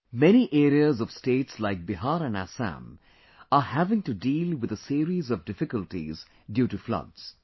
Many areas of states like Bihar and Assam are having to deal with a series of difficulties due to floods